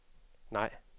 nej